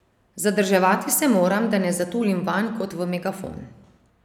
Zadrževati se moram, da ne zatulim vanj kot v megafon.